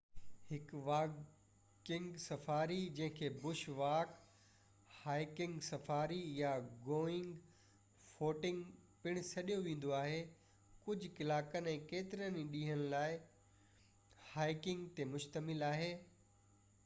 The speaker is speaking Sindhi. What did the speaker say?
هڪ واڪنگ سفاري جنهن کي بش واڪ"، هائيڪنگ سفاري"، يا گوئنگ فوٽنگ پڻ سڏيو ويندو آهي ڪجهه ڪلاڪن يا ڪيترن ئي ڏينهن لاءِ، هائيڪنگ تي مشتمل آهي